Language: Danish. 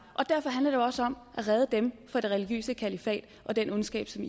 og derfor handler det jo også om at redde dem fra det religiøse kalifat og den ondskab som